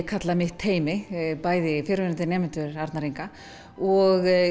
kalla mitt teymi bæði fyrrverandi nemendur Arnar Inga og